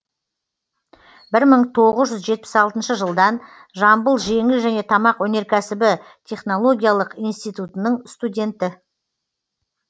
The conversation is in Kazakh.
бір мың тоғыз жүз жетпіс алтыншы жылдан жамбыл жеңіл және тамақ өнеркәсібі технологиялық институтының студенті